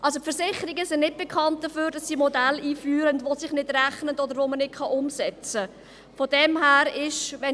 Also: Die Versicherungen sind nicht bekannt dafür, dass sie Modelle einführen, die sich nicht rechnen oder die man nicht umsetzen kann.